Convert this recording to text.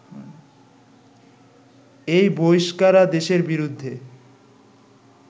এই বহিষ্কারাদেশের বিরুদ্ধে